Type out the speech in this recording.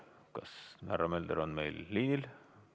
Kas härra Mölder on meil liinil?